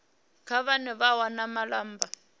kha vhane vha wana malamba